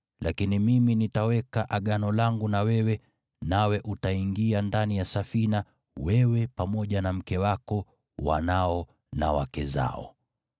Lakini Mimi nitaweka Agano langu na wewe, nawe utaingia ndani ya Safina, wewe pamoja na mke wako, wanao na wake zao.